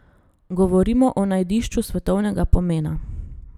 Govorimo o najdišču svetovnega pomena.